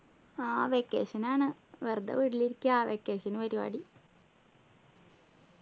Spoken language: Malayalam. ആഹ് vacation ആണ് വെറുതെ വീട്ടിലിരിക്കാ vacation നു പരിപാടി